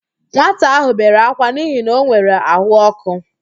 Nwata ahụ bere ákwá n'ihi na o nwere àhụ́ọkụ.